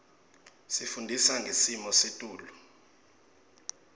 isifundisa ngesimo setulu